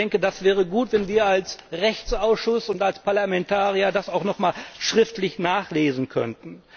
Ich denke, das wäre gut, wenn wir als Rechtsausschuss und als Parlamentarier das auch noch einmal schriftlich nachlesen könnten.